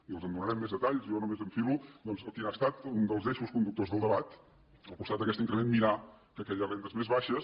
i els en donarem més detalls i jo només enfilo doncs quin ha estat un dels eixos conductors del debat al costat d’aquest increment mirar que aquelles rendes més baixes